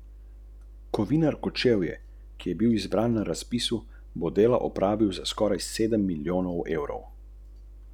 Dodamo kokosovo mleko, ribjo osnovo, solimo in pokuhamo na polovico.